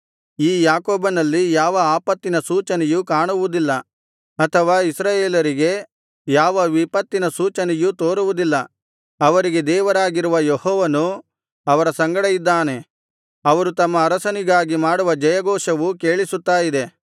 ಈ ಯಾಕೋಬನಲ್ಲಿ ಯಾವ ಆಪತ್ತಿನ ಸೂಚನೆಯೂ ಕಾಣುವುದಿಲ್ಲ ಅಥವಾ ಇಸ್ರಾಯೇಲರಿಗೆ ಯಾವ ವಿಪತ್ತಿನ ಸೂಚನೆಯೂ ತೋರುವುದಿಲ್ಲ ಅವರಿಗೆ ದೇವರಾಗಿರುವ ಯೆಹೋವನು ಅವರ ಸಂಗಡ ಇದ್ದಾನೆ ಅವರು ತಮ್ಮ ಅರಸನಿಗಾಗಿ ಮಾಡುವ ಜಯ ಘೋಷವು ಕೇಳಿಸುತ್ತ ಇದೆ